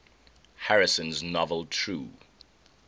harrison's novel true